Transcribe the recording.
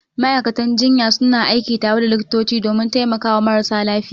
Ma'aikatan jinya suna aiki tare da likitoti domin taimakawa marasa lafiya.